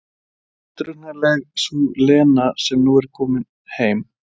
Óútreiknanleg sú Lena sem nú er komin heim.